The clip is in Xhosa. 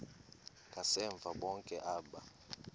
ngasemva bonke aba